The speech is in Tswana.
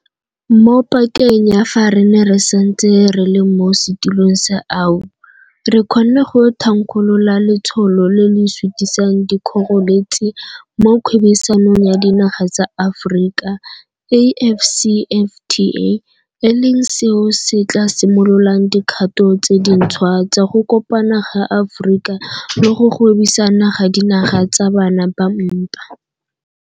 Mo pakeng ya fa re ne re santse re le mo setilong sa AU, re kgonne go thankgolola Letsholo le le Sutisang Dikgoreletsi mo Kgwebisanong ya Dinaga tsa Aforika, AfCFTA, e leng seo se tla simololang dikgato tse dintšhwa tsa go kopana ga Aforika le go gwebisana ga dinaga tsa bana ba mpa.